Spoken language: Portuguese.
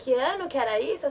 Que ano que era isso?